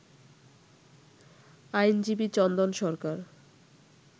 আইনজীবী চন্দন সরকার